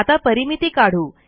आता परिमिती काढू